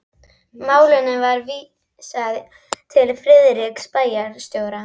Málinu var vísað til Friðriks bæjarstjóra.